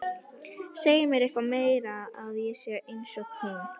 Segja mér eitthvað meira en að ég sé einsog hún.